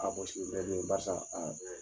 barisa